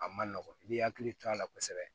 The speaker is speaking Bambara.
A ma nɔgɔn i b'i hakili to a la kosɛbɛ